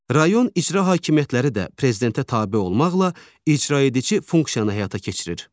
Rayon icra hakimiyyətləri də Prezidentə tabe olmaqla icra edici funksiyanı həyata keçirir.